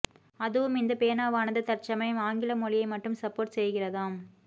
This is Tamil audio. அதுவும் இந்த பேனாவானது தற்சமயம் ஆங்கில மொழியை மட்டும் சப்போர்ட் செய்கிறதாம்